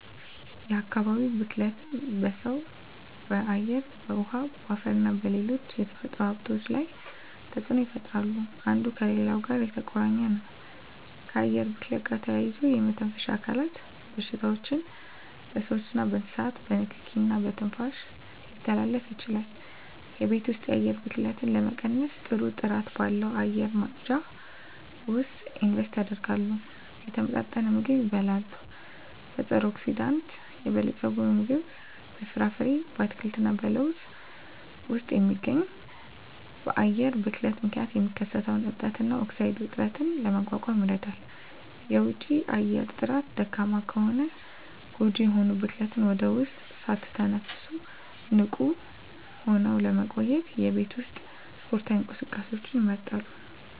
የአካባቢ ብክለት በሰው በአየር በውሀ በአፈርና በሌሎች የተፈጥሮ ሀብቶች ላይ ተፅኖ ይፈጥራሉ አንዱ ከሌላው ጋር የተቆራኘ ነው ከአየር ብክለት ጋር ተያይዞ የመተንፈሻ አካል በሽታዎች በስዎችና በእንስሳት በንኪኪ እና በትንፋሽ ሊተላለፉ ይችላሉ የቤት ውስጥ የአየር ብክለትን ለመቀነስ ጥሩ ጥራት ባለው አየር ማጽጃ ውስጥ ኢንቨስት ያድርጉ። የተመጣጠነ ምግብ ይብሉ; በፀረ-አንቲኦክሲዳንት የበለፀገ ምግብ (በፍራፍሬ፣ አትክልት እና ለውዝ ውስጥ የሚገኝ) በአየር ብክለት ምክንያት የሚከሰተውን እብጠት እና ኦክሳይድ ውጥረትን ለመቋቋም ይረዳል። የውጪ አየር ጥራት ደካማ ከሆነ ጎጂ የሆኑ ብክለትን ወደ ውስጥ ሳትተነፍሱ ንቁ ሆነው ለመቆየት የቤት ውስጥ ስፖርታዊ እንቅስቃሴዎችን ይምረጡ።